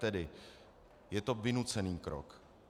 Tedy je to vynucený krok.